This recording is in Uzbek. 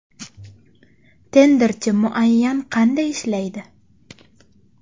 Tenderchi muayyan qanday ishlaydi?